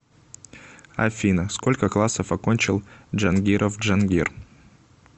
афина сколько классов окончил джангиров джангир